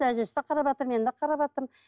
әжесі де қараватыр мен де қараватырмын